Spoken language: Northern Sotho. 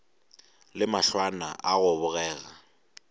le mahlwana a go bogega